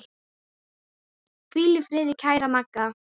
Hvíl í friði kæra Magga.